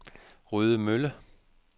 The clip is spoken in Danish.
Rødemølle